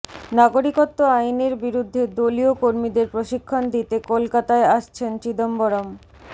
নাগরিকত্ব আইনের বিরুদ্ধে দলীয় কর্মীদের প্রশিক্ষণ দিতে কলকাতায় আসছেন চিদম্বরম